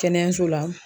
Kɛnɛyaso la